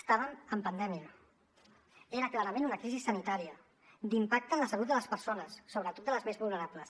estàvem en pandèmia era clarament una crisi sanitària d’impacte en la salut de les persones sobretot de les més vulnerables